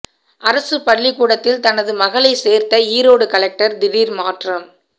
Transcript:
அரசுப் பள்ளிக்கூடத்தில் தனது மகளை சேர்த்த ஈரோடு கலெக்டர் திடீர் மாற்றம்